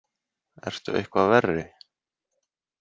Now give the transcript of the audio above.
Ertu eitthvað verri?